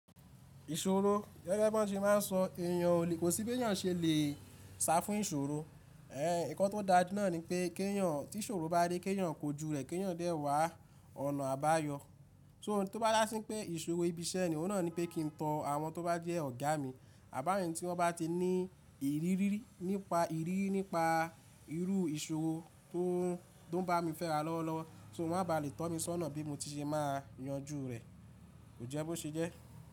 Ìṣòro, gẹ́gẹ́ bí wọ́n ti máa ń sọ èyàn o lè kó sí bí éyàn ṣe lè sá fún ìṣòro. Ẹn, ìkọ́ tó dáa náà ni pé kí èyàn tí ṣòro bá dé, kí èyàn kó ju rẹ̀, kí èyàn dé wá ọ̀nà àbáyọ. So tí ó bá dá sí pé ìṣòro ibi iṣẹ́ ni, òun náà ni pé kí n tan àwọn tó bá jẹ́ ọ̀gá mi, àbáwọn tí wọ́n bá ti ní ìrírí nípa ìrírí nípa irú ìṣòro tó ń bá mi fẹ́ra lọ́wọ́lọ́wọ́, so má ba lè tọ́ mi sọ́nà bí mo ti ṣe máa yanjú rẹ̀. Kòjẹ́ bó ṣe jẹ́.